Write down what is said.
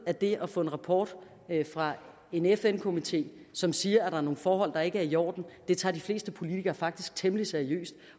at det at få en rapport fra en fn komité som siger at der er nogle forhold der ikke er i orden tager de fleste politikere faktisk temmelig seriøst